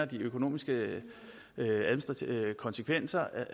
de økonomiske konsekvenser